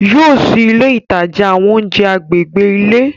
Yóò ṣìí ìlẹ̀ ìtajà àwọn ọ̀unjẹ̀ àgbègbè ilẹ̀.